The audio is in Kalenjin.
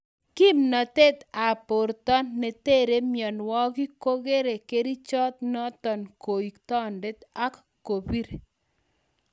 Kimnotet ab borto netere myonwokik kokere kerichot niton kou tondet ak kobir